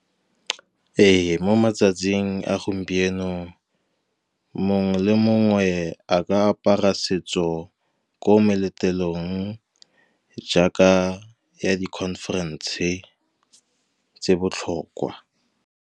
Ee, mo matsatsing a gompieno, mongwe le mongwe a ka apara setso ko meletlong, jaaka ya di-conference tse di botlhokwa.